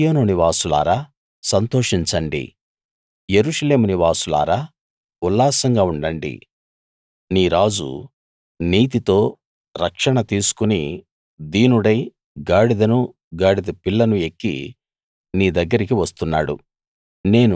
సీయోను నివాసులారా సంతోషించండి యెరూషలేము నివాసులారా ఉల్లాసంగా ఉండండి నీ రాజు నీతితో రక్షణ తీసుకుని దీనుడై గాడిదను గాడిద పిల్లను ఎక్కి నీ దగ్గరికి వస్తున్నాడు